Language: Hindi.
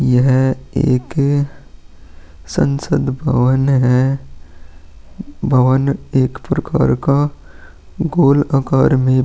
यह एक संसद भवन है भवन एक प्रकार का गोल आकार में --